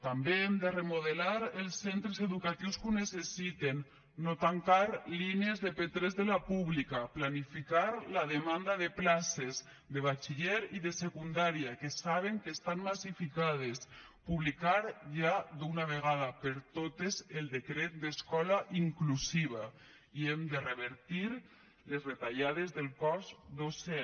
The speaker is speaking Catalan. també hem de remodelar els centres educatius que ho necessiten no tancar línies de p3 de la pública planificar la demanda de places de batxiller i de secundària que saben que estan massificades publicar ja d’una vegada per totes el decret d’escola inclusiva i hem de revertir les retallades del cos docent